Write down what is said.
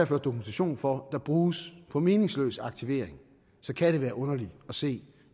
ført dokumentation for bruges på meningsløs aktivering kan det være underligt at se